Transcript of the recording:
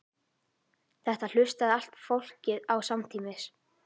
Þetta hlustaði allt fólkið á samtímis.